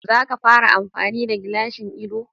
Zaka fara amfani da gilashin ido